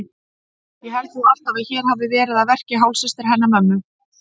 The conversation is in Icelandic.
Ég held nú alltaf að hér hafi verið að verki hálfsystir hennar mömmu.